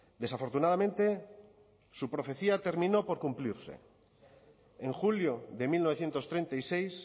desafortunadamente su profecía terminó por cumplirse en julio de mil novecientos treinta y seis